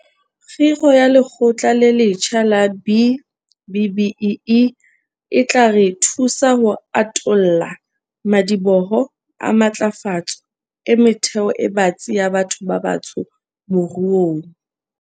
Kgiro ya Lekgotla le letjha la B-BBEE e tla re thusa ho atolla madiboho a matlafatso e metheo e batsi ya batho ba batsho moruong.